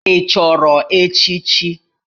Ị chọrọ echichi?